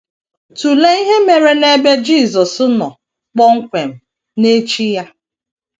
Tụlee ihe mere n’ebe Jisọs nọ kpọmkwem n’echi ya.